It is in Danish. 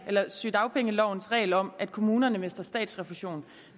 sygedagpengelovens regel om at kommunerne mister statsrefusion